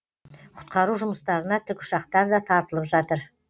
құтқару жұмыстарына тікұшақтар да тартылып жатыр